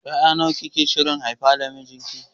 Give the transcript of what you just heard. Yara nawa kike shirin haifa da mijinki?